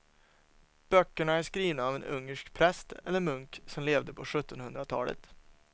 Böckerna är skrivna av en ungersk präst eller munk som levde på sjuttonhundratalet.